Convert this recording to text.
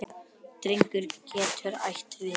Drengur getur átt við